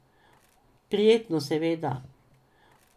Prijetno, seveda.